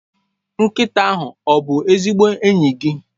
Nkịta ahụ ọ bụ ezigbo enyi gị?